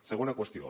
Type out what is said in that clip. segona qüestió